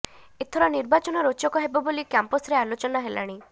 ଏଥର ନିର୍ବାଚନ ରୋଚକ ହେବ ବୋଲି କ୍ୟାମ୍ପସରେ ଆଲୋଚନା ହେଲାଣି